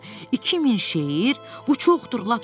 2000 şeir, bu çoxdur, lap çoxdur.